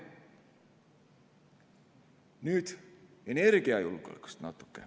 Nüüd natuke energiajulgeolekust.